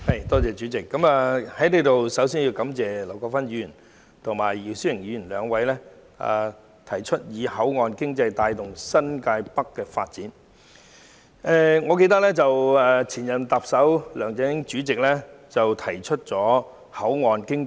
代理主席，我首先在此感謝劉國勳議員提出"以口岸經濟帶動新界北發展"的議案，以及姚思榮議員提出修正案。